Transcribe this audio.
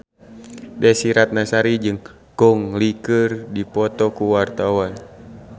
Desy Ratnasari jeung Gong Li keur dipoto ku wartawan